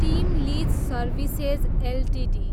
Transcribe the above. team लिज services Ltd